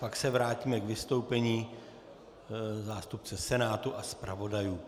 Pak se vrátíme k vystoupení zástupce Senátu a zpravodajů.